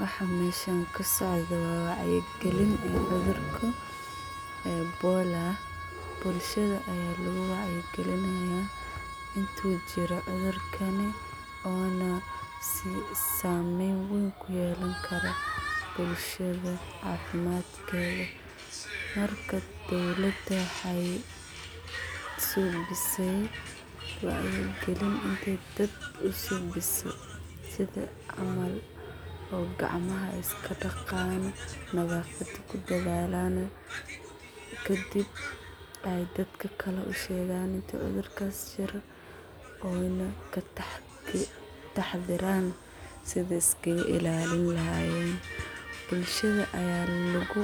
Waxaa meshan kasocdo waa wacya galin cudhurku ee e bola bulshaada aya lagu wacya galinaya intu jiro cudhurkani ona si samen weyn ku yelan kara bulshaada cafimaadkedha marka dowlaada waxee subisey wacya galin intee dad usubise camal oo gacmaha iska daqayan nadhafaada kudadhalan kadiib ee dadka kale ushegan inti cudhurkas jiro ena kataxadaran sithi laskaga ilalin lahayen bulshaada aya lagu